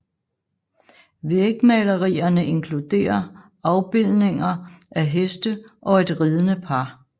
Vægmalerierne inkluderer afbilledninger af heste og et ridende par